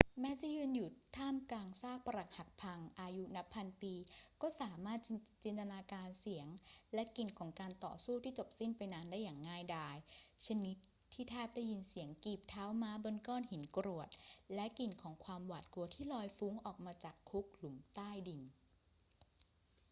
แม้จะยืนอยู่ท่ามกลางซากปรักหักพังอายุนับพันปี ก็สามารถจินตนาการเสียงและกลิ่นของการต่อสู้ที่จบสิ้นไปนานได้อย่างง่ายดาย ชนิดที่แทบได้ยินเสียงกีบเท้าม้าบนก้อนหินกรวดและกลิ่นของความหวาดกลัวที่ลอยฟุ้งออกมาจากคุกหลุมใต้ดิน